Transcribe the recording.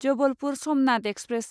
Jabalpur Somnath express